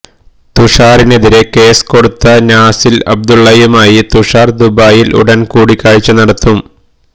തുഷാറിനെതിരെ case കൊടുത്ത നാസില് അബ്ദുല്ലയുമായി തുഷാര് ദുബായില് ഉടന് കൂടിക്കാഴ്ച നടത്തും